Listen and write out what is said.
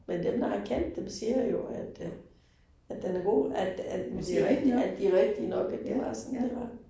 Men dem, der har kendt dem siger jo, at at at den er god, at at at at de rigtige nok, at det var sådan det var